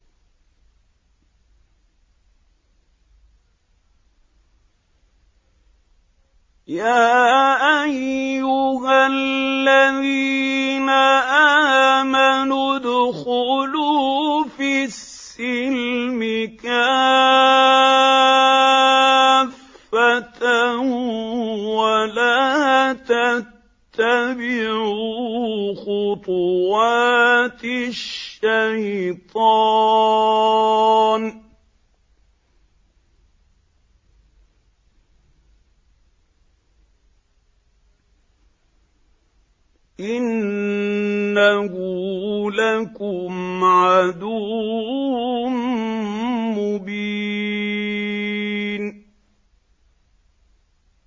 يَا أَيُّهَا الَّذِينَ آمَنُوا ادْخُلُوا فِي السِّلْمِ كَافَّةً وَلَا تَتَّبِعُوا خُطُوَاتِ الشَّيْطَانِ ۚ إِنَّهُ لَكُمْ عَدُوٌّ مُّبِينٌ